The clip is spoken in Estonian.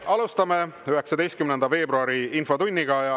Me alustame 19. veebruari infotundi.